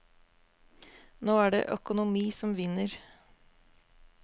Nå er det økonomi som vinner.